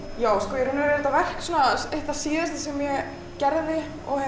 já sko þetta verk var eitt það síðasta sem ég gerði